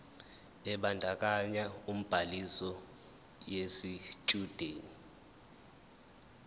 ebandakanya ubhaliso yesitshudeni